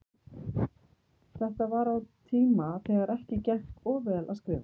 Þetta var á tíma þegar ekki gekk of vel að skrifa.